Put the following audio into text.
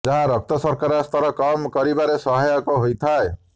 ଯାହା ରକ୍ତ ଶର୍କରା ସ୍ତର କମ୍ କରିବାରେ ସହାୟକ ହୋଇଥାଏ